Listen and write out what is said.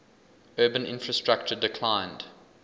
urban infrastructure declined